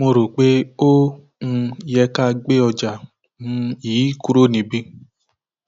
mo rò pé ó um yẹ ká gbé ọjà um yìí kúrò níbí